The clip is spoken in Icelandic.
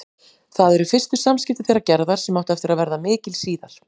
Það eru fyrstu samskipti þeirra Gerðar, sem áttu eftir að verða mikil síðar.